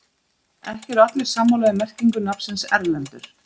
ekki eru allir sammála um merkingu nafnsins erlendur